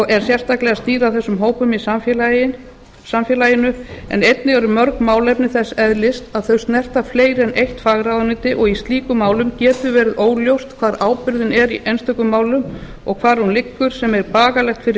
er sérstaklega snýr að þessum hópum í samfélaginu en einnig eru mörg málefni þess eðlis að þau snerta fleiri en eitt fagráðuneyti og í slíkum málum getur verið óljóst hvar ábyrgðin er í einstökum málum og hvar hún liggur sem er bagalegt fyrir